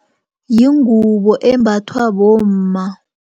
Yingubo embathwa bomma.